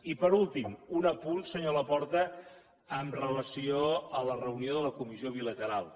i per últim un apunt senyor laporta amb relació a la reunió de la comissió bilateral